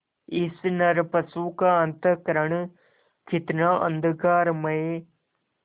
इस नरपशु का अंतःकरण कितना अंधकारमय